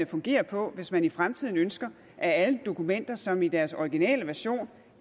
fungere på hvis man i fremtiden ønsker at alle dokumenter som i deres originale version